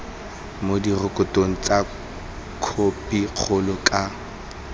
mo direkotong tsa khopikgolo ka